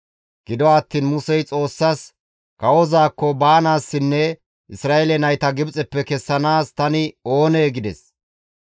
Gido attiin Musey Xoossaas, «Kawozaakko baanaassinne Isra7eele nayta Gibxeppe kessanaas tani oonee?» gides.